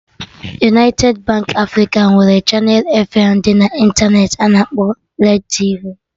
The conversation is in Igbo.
United Baankị Africa nwere chaneelụ feem dị na intaneti a na-akpọ Red tv